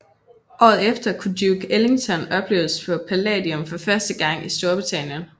Året efter kunne Duke Ellington opleves på Palladium for første gang i Storbritannien